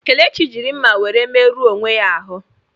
Kelechi jiri mma were merụọ onwe ya ahụ.